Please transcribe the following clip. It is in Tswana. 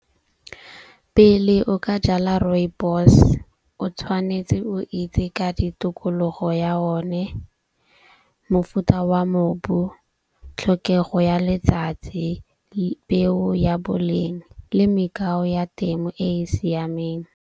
Pele o ka jala rooibos o tshwanetse o itse ka ditokologo ya o ne, mofuta wa mobu, tlhokego ya letsatsi, peo ya boleng le ya temo e e siameng.